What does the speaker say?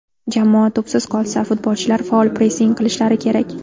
Jamoa to‘psiz qolsa, futbolchilar faol pressing qilishlari kerak.